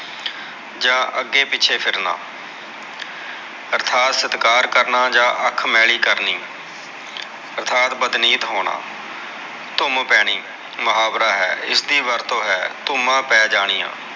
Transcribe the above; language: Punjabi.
ਜਾ ਅਗੇ ਪਿਛੇ ਫਿਰਨਾ ਅਰਤਾਥ ਸਤਕਾਰ ਕਰਨਾ ਜਾ ਅਖ ਮੇਲੀ ਕਰਨੀ ਅਰ੍ਤਾਥ ਬਦਨੀਤ ਹੋਣਾ ਧੂਮ ਪੈਣੀ ਮੁਹਾਵਰਾ ਹੈ ਇਸਦੀ ਵਰਤੋ ਹੈ ਧੁਮਾ ਪੈ ਜਾਨੀਆ